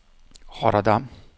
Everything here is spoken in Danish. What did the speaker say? Rotterdam